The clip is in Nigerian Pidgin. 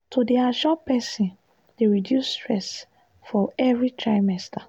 to dey assure person dey reduce stress for every trimester.